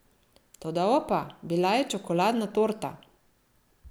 Toda, opa, bila je čokoladna torta.